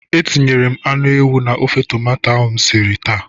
Etinyere m anụ ewu na ofe tomato m siri taa.